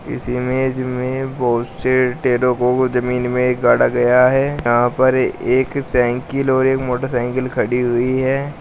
इस इमेज में बहोत से टेयरों को जमीन में गाड़ा गया है यहां पर एक साइकिल और एक मोटरसाइकिल खड़ी हुई है।